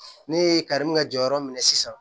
Ne ye kari min ka jɔyɔrɔ minɛ sisan